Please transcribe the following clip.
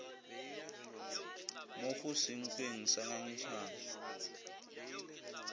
mo go senkweng ga ngangišano